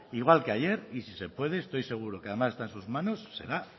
igual que ayer y si se puede estoy seguro además que está en sus manos será